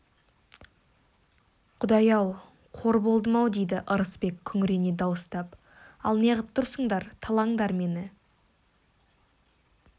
құдай-ау қор болдым-ау дейді ырысбек күңірене дауыстап ал неғып тұрсыңдар талаңдар мені